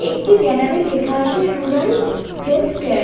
একটি ব্যানার -এ লেখা আছে রুরাল হেলথ কেয়ার ।